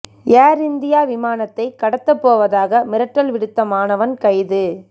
ஏர் India விமானத்தை கடத்தப் போவதாக மிரட்டல் விடுத்த மாணவன் கைது